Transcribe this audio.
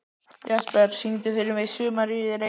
Jesper, syngdu fyrir mig „Sumarið í Reykjavík“.